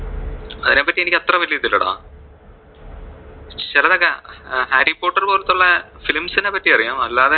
അതിനെ പറ്റി എനിക്ക് അത്ര വെല്യ ഇതില്ലടാ, ചിലതൊക്കെ ഹാരി പോട്ടർ പോലത്തെ ഉള്ള films നെ പറ്റി അറിയാം അല്ലാതെ.